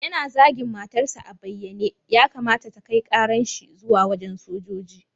Yana zagin matar sa a banyaye, ya kamata ta kai ƙaran shi zuwa wajan sojoji.